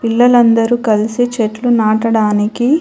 పిల్లలందరూ కలిసి చెట్లు నాటడానికి--